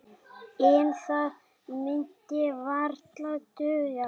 En það myndi varla duga.